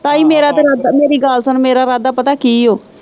ਭਈ ਮੇਰਾ ਤੇ ਰਾਦਾ, ਮੇਰੀ ਗੱਲ ਸੁਣ ਮੇਰਾ ਰਾਦਾ ਪਤਾ ਕੀ ਓ।